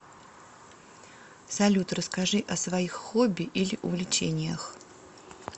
салют расскажи о своих хобби или увлечениях